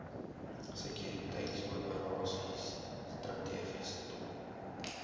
sekuriteitsoperasies strategiese doel